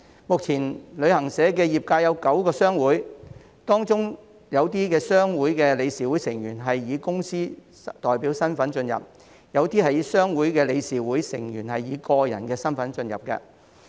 目前旅行社業界有9個商會，當中有些商會的理事會成員是以公司代表身份加入，有些商會的理事會成員則是以個人身份加入。